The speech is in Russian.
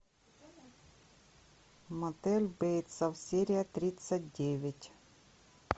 мотель бейтса серия тридцать девять